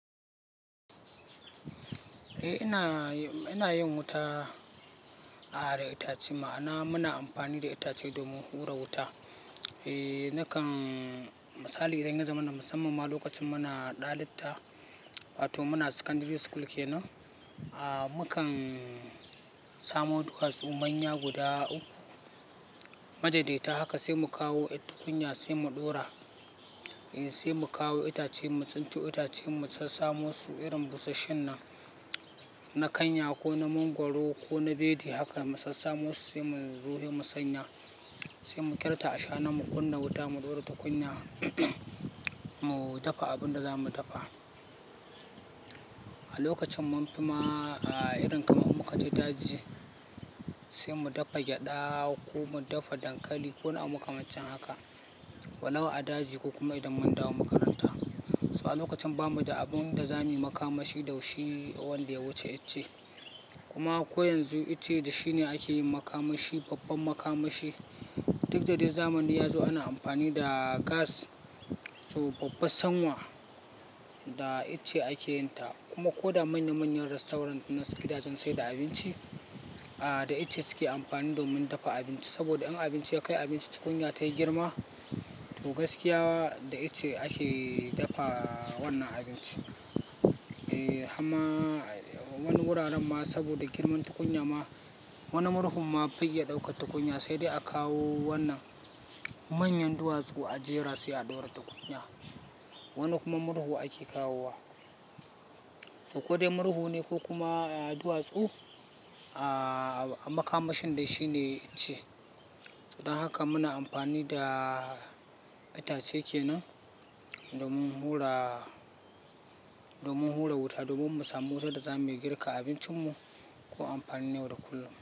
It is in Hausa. Eh ina, ina yin wuta, ah, da itace. Ma'ana muna amfani da itace domin hura wuta. Eh nakan misali idan ya zama na musamman ma lokacin muna ɗalibta, wato muna secondary school kenan, ah, mukan samo duwatsu manya guda uku, ma daidaita haka sai mu kawo tukunya sai mu ɗora. Eh sai mu kawo itace mu tsinto itacen mu sassamu su irin busasshen nan, na kanya ko na mangwaro ko na bedi haka mu sassamo su sai mu zo mu sanya. Sai mu kirta shana mu kunna wuta mu ɗora tukunya, mu dafa abun da zamu dafa. A lokacin mun fi ma, ah, irin kamar muka je daji sai mu dafa gyada ko mu dafa dankali ko wani abu makamancin haka. Walau a daji ko kuma idan mun dawo makaranta. So a lokacin bamu da abinda zamu yi makamashi dashi wanda ya wuce icce kuma ko yanzu ice da shine ake yin makamashi, babban makamashi. Duk dai zamani yazo ana amfani da Gas, so babbar sanwa da icce ake yin ta. Kuma ko da manya manyan restaurant na gidajen saida abinci, ah, da ice suke amfani domin dafa abinci. Saboda in abinci ya kai abinci tukunya ta yi girma, to gaskiya da ice ake dafa wannan abinci. Eh hamma wani wuraren ma saboda girman tukunya ma, wani murhu ma bai iya ɗaukar tukunya sai dai a kawo wannan manyan duwatsu a jera su a ɗora tukunya. Wani kuma murhu ake kawowa. So ko dai murhu ne ko kuma duwatsu, ah, makamashin dai shi ne ice. So don haka muna amfani da itace kenan domin hura, domin hura wuta domin mu samu wutar da zamuyi girka abincinmu ko amfanin yau da kullum.